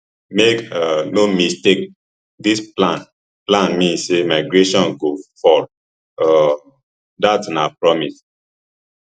make um no mistake dis plan plan mean say migration go fall um dat na promise